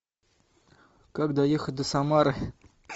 как доехать до самары